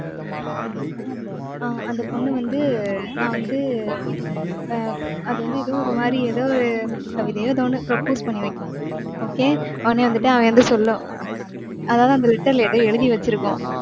ஆஹ் அந்த பொண்ணு வந்து நான் வந்து ஆஹ் அது வந்து ஏதோ ஒரு மாதிரி ஏதோ ஒரு கவிதையோ ஏதோ ஒண்ணு propose பண்ணி வைக்கும். okay. உடனே வந்துட்டு அவன் சொல்லும். அஹ் அதாவது, அந்த letter ல ஏதோ எழுதி வச்சிருக்கும்.